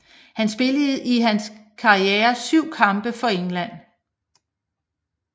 Han spillede i hans karriere 7 kampe for England